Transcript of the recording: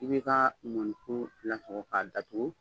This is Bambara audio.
I bɛ ka mɔnikuru lasago k'a datugu